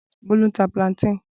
Bolu ń ta plantains.